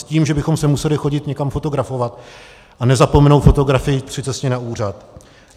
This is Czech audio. S tím, že bychom se museli chodit někam fotografovat a nezapomenout fotografii při cestě na úřad.